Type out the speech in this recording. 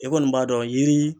E kɔni b'a dɔn yiri